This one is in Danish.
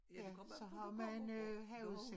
Ja så man øh havudsigt